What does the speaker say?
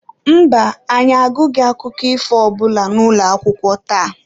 Mba, anyị agụghị akụkọ ifo ọ bụla n'ụlọakwụkwọ tata.